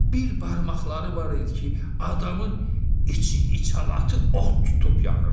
Bir barmaqları var idi ki, adamın içi, içalatı ot tutub yanırdı.